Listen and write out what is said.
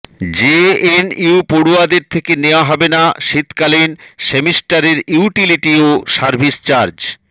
JNU পড়ুয়াদের থেকে নেওয়া হবে না শীতকালীন সেমিস্টারের ইউটিলিটি ও সার্ভিস চার্জ